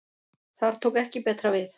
Þar tók ekki betra við.